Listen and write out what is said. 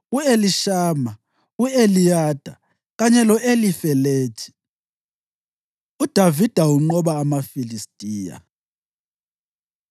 u-Elishama, u-Eliyada kanye lo-Elifelethi. UDavida Unqoba AmaFilistiya